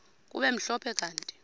kube mhlophe kanti